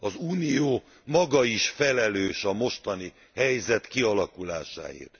Az Unió maga is felelős a mostani helyzet kialakulásáért.